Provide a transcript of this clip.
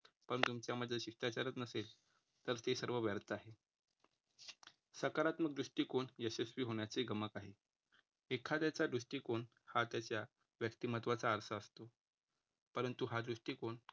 पण तुमच्या मध्ये शिष्टचारचं नसेल, तर ते सर्व व्यर्थ आहे. सकारात्मक दृष्टिकोन यशस्वी होण्याचे गमक आहे एखाद्याच्या दृष्टिकोन हा त्याच्या व्यक्तिमत्त्वाचा आरसा असतो. परंतु हा दृष्टिकोन काही